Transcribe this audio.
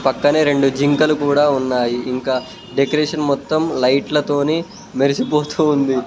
పక్కనే రెండు జింకలు కూడా ఉన్నాయి ఇంకా డెకరేషన్ మొత్తం లైట్లతోనే మెరిసిపోతూ ఉంది.